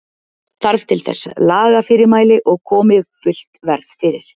Þarf til þess lagafyrirmæli og komi fullt verð fyrir.